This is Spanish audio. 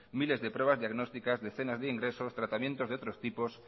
miles de pruebas diagnósticas decenas de ingresos tratamientos de otros tipos